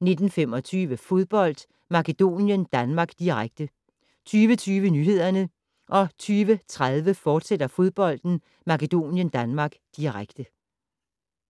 19:25: Fodbold: Makedonien-Danmark, direkte 20:20: Nyhederne 20:30: Fodbold: Makedonien-Danmark, direkte